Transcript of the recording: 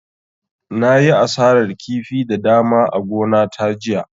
Na yi asarar kifi da dama a gona ta jiya